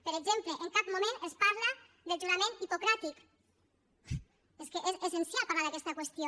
per exemple en cap moment es parla del jurament hipocràtic és que és essencial parlar d’aquesta qüestió